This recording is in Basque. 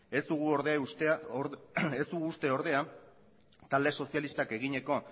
ez dugu uste ordea talde sozialistak egineko